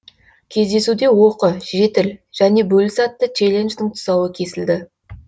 кездесуде оқы жетіл және бөліс атты челлендждің тұсауы кесілді